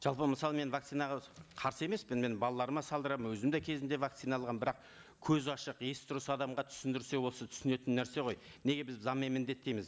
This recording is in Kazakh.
жалпы мысалы мен вакцинаға қарсы емеспін мен балаларыма салдырамын өзім де кезінде вакцина алғанмын бірақ көзі ашық есі дұрыс адамға түсіндірсе осы тұсінетін нәрсе ғой неге біз заңмен міндеттейміз